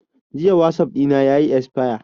Jiya wasap ɗina yayi esfaya